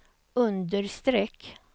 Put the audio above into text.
understreck